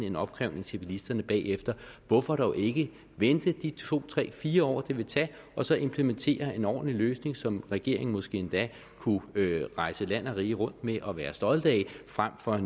en opkrævning til bilisterne bagefter hvorfor dog ikke vente de to tre fire år det vil tage og så implementere en ordentlig løsning som regeringen måske endda kunne rejse land og rige rundt med og være stolte af frem for at